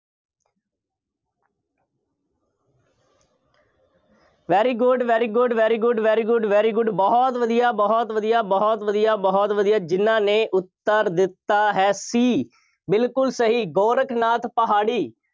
very good, very good, very good, very good, very good ਬਹੁਤ ਵਧੀਆ, ਬਹੁਤ ਵਧੀਆ, ਬਹੁਤ ਵਧੀਆ, ਬਹੁਤ ਵਧੀਆ, ਜਿੰਨ੍ਹਾ ਨੇ ਉੱਤਰ ਦਿੱਤਾ ਹੈ C ਬਿਲਕੁੱਲ ਸਹੀ, ਗੋਰਖਨਾਥ ਪਹਾੜੀ।